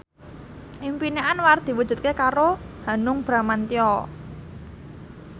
impine Anwar diwujudke karo Hanung Bramantyo